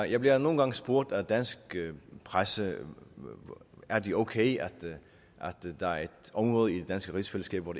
jeg bliver nogle gange spurgt af dansk presse er det okay at der er et område i det danske rigsfællesskab hvor